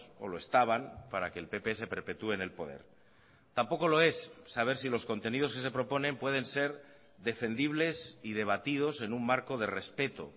o lo estaban para que el pp se perpetúe en el poder tampoco lo es saber si los contenidos que se proponen pueden ser defendibles y debatidos en un marco de respeto